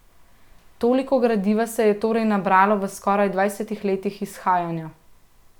Toliko gradiva se je torej nabralo v skoraj dvajsetih letih izhajanja.